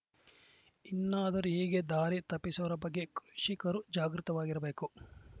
ಇನ್ನಾದರೂ ಹೀಗೆ ದಾರಿ ತಪ್ಪಿಸುವರ ಬಗ್ಗೆ ಕೃಷಿಕರು ಜಾಗೃತವಾಗಿರಬೇಕು